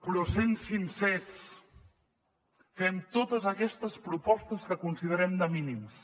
però sent sincers fem totes aquestes propostes que considerem de mínims